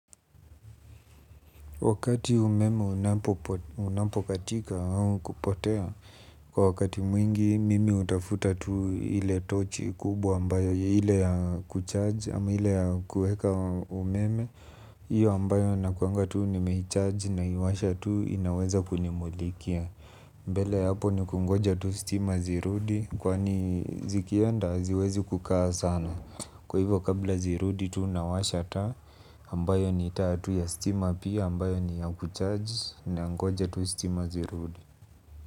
Wakati umeme unapokatika au kupotea, kwa wakati mwingi mimi hutafuta tu ile tochi kubwa ambayo ya ile ya kucharge ama ile ya kuweka umeme. Iyo ambayo nakuanga tu nimehicharge na iwasha tu inaweza kunimulikia mbele ya hapo ni kungoja tu stima tu zirudi kwani zikienda haziwezi kukaa sana kwa hivyo kabla zi rudi tu nawasha taa ambayo ni taa tu ya stima pia ambayo ni ya kucharge nangoja tu stima zirudi.